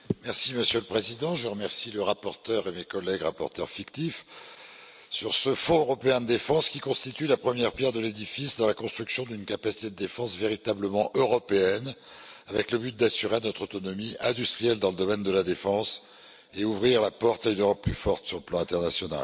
Monsieur le Président, je remercie le rapporteur et mes collègues rapporteurs fictifs sur ce Fonds européen de la défense, qui constitue la première pierre de l'édifice dans la construction d'une capacité de défense véritablement européenne, avec le but d'assurer notre autonomie industrielle dans le domaine de la défense et d'ouvrir la porte à une Europe plus forte sur le plan international.